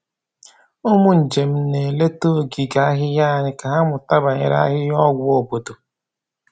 Ụmụ njem na-eleta ogige ahịhịa anyị ka ha mụta banyere ahịhịa ọgwụ obodo.